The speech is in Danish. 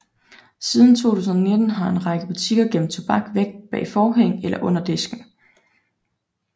Siden 2019 har en række butikker gemt tobak væk bag forhæng eller under disken